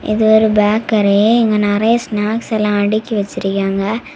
இது ஒரு பேக்கரி இங்க நிறைய ஸ்னாக்ஸ் எல்லாம் அடுக்கி வச்சிருக்காங்க.